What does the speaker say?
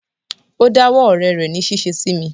O dá wó ọ̀rẹ́ rẹ̀ ní ṣíṣe sí mi.